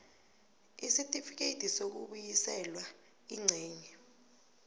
isitifikedi sokubuyiselwa ingcenye